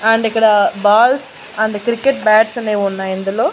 And ఇక్కడ balls and cricket bats అనేవున్నాయిందులో.